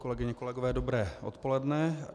Kolegyně, kolegové, dobré odpoledne.